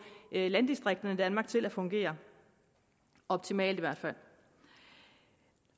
landdistrikterne i danmark til at fungere optimalt i hvert fald